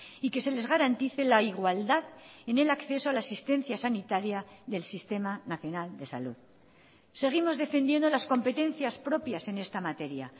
y que se les garantice la igualdad en el acceso a la asistencia sanitaria del sistema nacional de salud seguimos defendiendo las competencias propias en esta materia